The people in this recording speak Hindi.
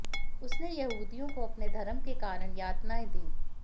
उसने यहूदियों को अपने धर्म के कारण यातनाएँ दी